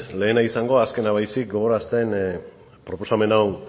lehena izango azkena baizik gogorarazten proposamen hau